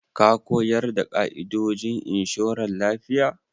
Ka ko yarda da ƙa'idojin inshoran lafiya?